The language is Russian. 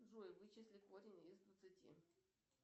джой вычисли корень из двадцати